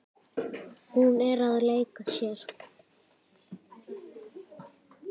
Hún er að leika sér.